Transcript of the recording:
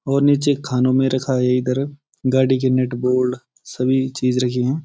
और नीचे खानों में रखा है इधर गाड़ी के नट बोर्ड सभी चीज रखी हैं।